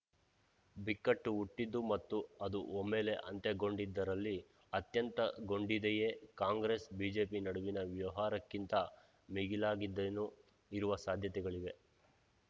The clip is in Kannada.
ಬಿಕ್ಕಟ್ಟು ಹುಟ್ಟಿದ್ದು ಮತ್ತು ಅದು ಒಮ್ಮೆಲೆ ಅಂತ್ಯಗೊಂಡಿದ್ದರಲ್ಲಿ ಅತ್ಯಂತಗೊಂಡಿದೆಯೆ ಕಾಂಗ್ರೆಸ್‌ಬಿಜೆಪಿ ನಡುವಿನ ವ್ಯವಹಾರಕ್ಕಿಂತ ಮಿಗಿಲಾದದ್ದೇನೋ ಇರುವ ಸಾಧ್ಯತೆಗಳಿವೆ